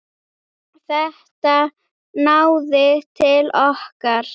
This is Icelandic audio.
Þetta náði til okkar.